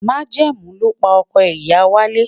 Majẹmu lopa ọkọ iya walẹ